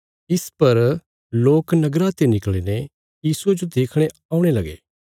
इस पर लोक नगरा ते निकल़ीने यीशुये जो देखणे औणे लगे